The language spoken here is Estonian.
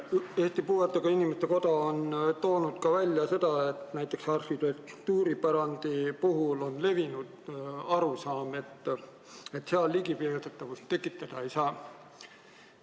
Eesti Puuetega Inimeste Koda on toonud välja, et näiteks arhitektuuripärandi puhul on levinud arusaam, et seal ligipääsetavust tekitada ei saa.